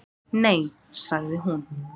Nei, sagði hún.